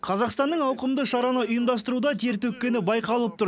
қазақстанның ауқымды шараны ұйымдастыруда тер төккені байқалып тұр